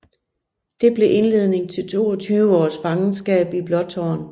Det blev indledningen til 22 års fangenskab i Blåtårn